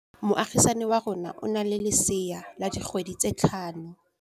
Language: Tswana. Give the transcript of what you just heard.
Moagisane wa rona o na le lesea la dikgwedi tse tlhano.